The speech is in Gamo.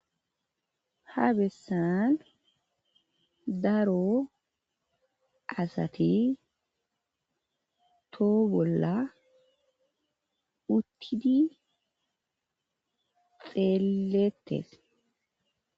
Ha bessan daro assathi toho bolla uttidi xeletess.